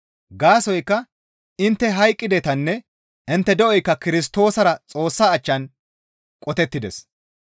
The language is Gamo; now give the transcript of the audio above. Gaasoykka intte hayqqidetanne intte de7oykka Kirstoosara Xoossa achchan qotettides.